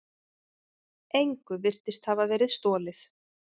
Engu virtist hafa verið stolið.